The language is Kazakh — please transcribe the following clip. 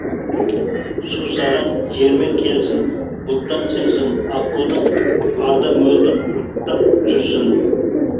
су саған жермен келсін бұлттан сіңсін аққудың арда мөлдір ұрттап жүрсін